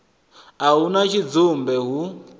a hu na tshidzumbe hu